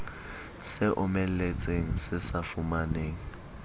se omeletseng se sa fumaneng